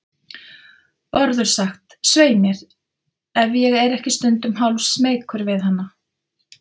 Bárður sagt, svei mér, ef ég er ekki stundum hálfsmeykur við hana.